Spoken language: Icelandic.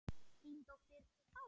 Þín dóttir, Bára.